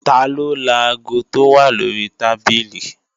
Taló laago tó wà lórí tábìlì?